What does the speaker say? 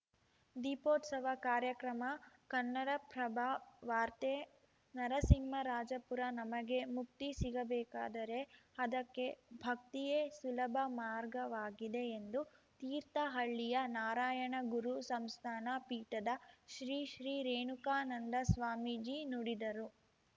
ದೀಪೋತ್ಸವ ಕಾರ್ಯಕ್ರಮ ಕನ್ನಡಪ್ರಭ ವಾರ್ತೆ ನರಸಿಂಹರಾಜಪುರ ನಮಗೆ ಮುಕ್ತಿ ಸಿಗಬೇಕಾದರೆ ಅದಕ್ಕೆ ಭಕ್ತಿಯೇ ಸುಲಭ ಮಾರ್ಗವಾಗಿದೆ ಎಂದು ತೀರ್ಥಹಳ್ಳಿಯ ನಾರಾಯಣಗುರು ಸಂಸ್ಥಾನ ಪೀಠದ ಶ್ರೀ ಶ್ರೀ ರೇಣುಕಾನಂದ ಸ್ವಾಮೀಜಿ ನುಡಿದರು